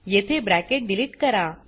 येथे bracket delete करा